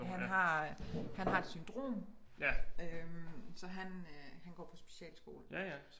Han har øh han har et syndrom øh så han øh han går på specialskole